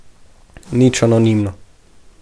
Nič anonimno.